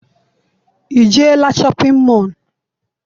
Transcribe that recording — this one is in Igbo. I jeela shọpịn mọọ?